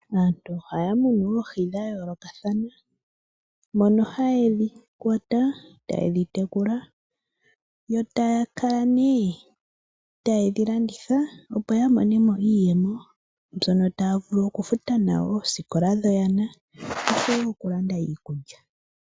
Aantu ohaya munu oohi dha yoolokathana mono haye dhi kwata eta ye dhi tekula, yoo taa kala nee taye dhi landitha opo ya mone mo iiyemo mbyono taa vulu okufuta nayo oosikola dhoyana oshowo okulanda iikulya.